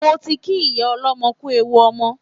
Mo ti kí ìyá ọlọ́mọ kú ewu ọmọ